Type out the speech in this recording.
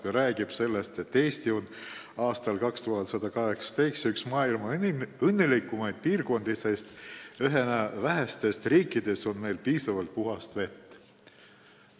Ta rääkis sellest, et Eesti on aastal 2118 üks maailma kõige õnnelikumaid piirkondi, sest ühena vähestest riikidest on meil piisavalt puhast vett.